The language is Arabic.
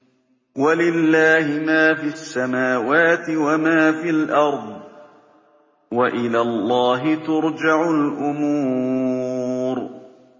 وَلِلَّهِ مَا فِي السَّمَاوَاتِ وَمَا فِي الْأَرْضِ ۚ وَإِلَى اللَّهِ تُرْجَعُ الْأُمُورُ